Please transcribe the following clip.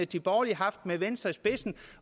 de borgerlige med venstre i spidsen